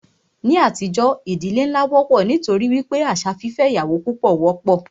Ní àtijọ́, ìdílé nlá wọ́pọ̀ nítorí wípé àṣà fífẹ́ ìyàwó púpọ wọ́pọ̀.